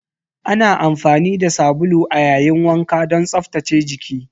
Ana amfani da sabulu a yayin wanka don tsaftace jiki.